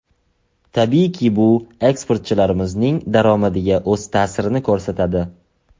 Tabiiyki, bu eksportchilarimizning daromadiga o‘z ta’sirini ko‘rsatadi.